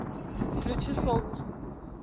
включи солнышко